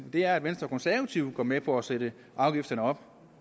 er at venstre og konservative går med på at sætte afgifterne op